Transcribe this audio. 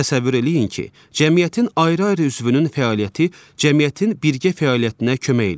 Təsəvvür eləyin ki, cəmiyyətin ayrı-ayrı üzvünün fəaliyyəti cəmiyyətin birgə fəaliyyətinə kömək eləyir.